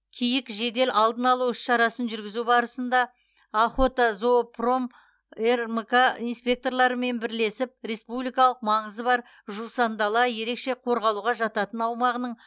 киік жедел алдын алу іс шарасын жүргізу барысында охотозоопром рмк инспекторларымен бірлесіп республикалық маңызы бар жусандала ерекше қорғалуға жататын аумағының